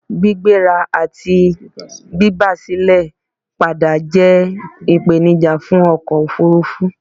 Gbígbéra àti bíba silẹ̀ padà jẹ́ ìpènijà fún ọkò òfurufú